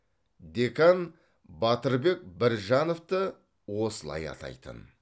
декан батырбек біржановты осылай атайтын